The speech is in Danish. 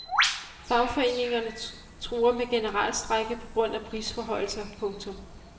Fagforeningerne truer med generalstrejke på grund af prisforhøjelser. punktum